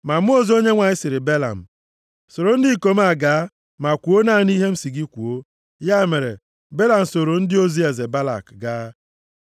Ma mmụọ ozi Onyenwe anyị sịrị Belam, “Soro ndị ikom a gaa, ma kwuo naanị ihe m sị gị kwuo.” Ya mere, Belam soro ndị ozi eze Balak gaa.